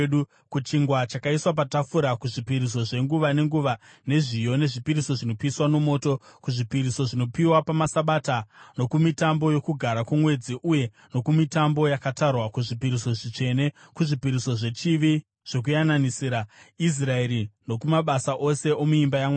kuchingwa chakaiswa patafura, kuzvipiriso zvenguva nenguva zvezviyo, nezvipiriso zvinopiswa nomoto, kuzvipiriso zvinopiwa pamaSabata nokumitambo yoKugara kwoMwedzi uye nokumitambo yakatarwa, kuzvipiriso zvitsvene; kuzvipiriso zvechivi zvokuyananisira Israeri, nokumabasa ose omuimba yaMwari.